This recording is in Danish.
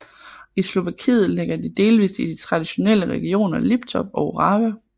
I Slovakiet ligger de delvist i de traditionelle regioner Liptov og Orava